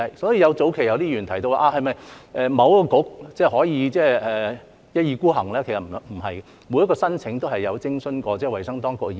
所以，早期有些議員提到是否某一個政策局可以一意孤行，其實不然，就每一宗申請都是有徵詢過衞生當局意見的。